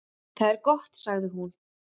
"""Það er gott, sagði hún."""